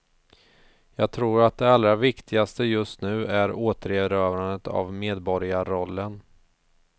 Jag tror att det allra viktigaste just nu är återerövrandet av medborgarrollen.